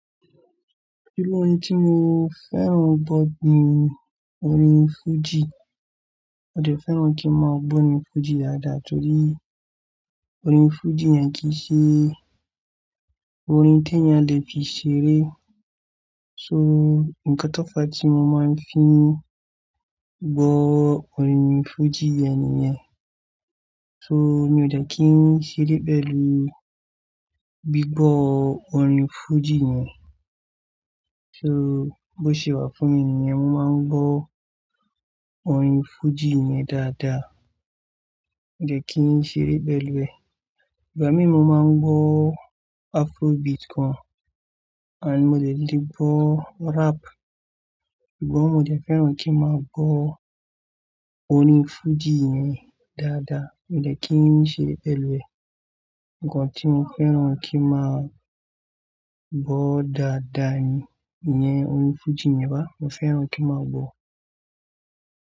Gbogbo orin tí mo fẹ́ràn gbọ́ ni orin fújì. Ó dẹ fẹ́ràn kí n máa gbọ́ orin fújì dáadáa torí orin fújì yen kíí se orin t'èèyàn le fi ṣeré. So, ǹkan tófa tí mo máa ń fi n gbọ́ orin fújì yẹn nìyẹn. So, mi ò dẹ kí n ṣeré pẹ̀lú gbígbọ́ orin fújì yẹn. So, bó ṣe wà fún mi nìyẹn, mo máa ń gbọ́ orin fújì yẹn dáadáa. Mi ò dẹ kí n ṣeré pẹ̀lú ẹ̀. Ìgbá mi mo máa ń gbọ́ Afrobeat gan-an, and mo dẹ lè gbọ́ rap. Ìgbà wo mo dẹ fẹ́ràn kí n máa gbọ́ orin fújì yẹn dáadáa, mi ò dẹ kí n ṣeré pẹ̀lú ẹ̀. Ǹkan tí mo fẹ́ràn kí n máa gbọ́ dáadáa ni, ìyẹn orin fújì yẹn bá, mo fẹ́ràn kí n máa gbọ́.